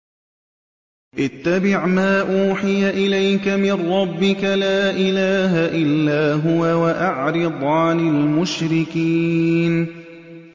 اتَّبِعْ مَا أُوحِيَ إِلَيْكَ مِن رَّبِّكَ ۖ لَا إِلَٰهَ إِلَّا هُوَ ۖ وَأَعْرِضْ عَنِ الْمُشْرِكِينَ